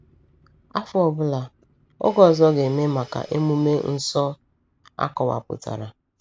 Afọ ọ bụla, oge ọzọ ga-eme maka emume nsọ akọwapụtara.